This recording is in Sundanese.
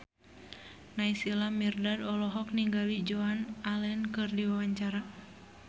Naysila Mirdad olohok ningali Joan Allen keur diwawancara